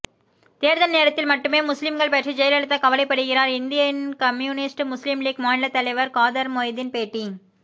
தேர்தல் நேரத்தில் மட்டுமே முஸ்லிம்கள் பற்றி ஜெயலலிதா கவலைப்படுகிறார் இந்திய யூனியன் முஸ்லிம் லீக் மாநில தலைவர் காதர்மொய்தீன் பேட்டி